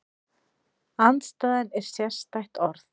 Andstæðan er sérstætt orð.